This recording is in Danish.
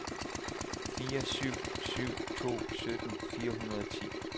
fire syv syv to sytten fire hundrede og ti